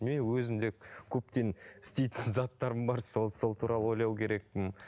мен өзім де көптен істейтін заттарым бар сол сол туралы ойлау керекпін